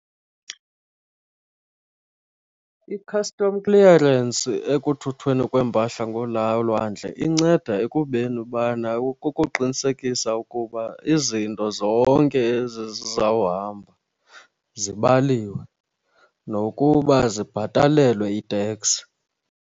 I-custom clearance ekuthuthweni kweempahla lwandle inceda ekubeni ubana kukuqinisekisa ukuba izinto zonke ezi zizawuhamba zibaliwe nokuba zibabhatalelwe i-tax.